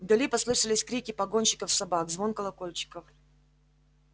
вдали послышались крики погонщиков собак звон колокольчиков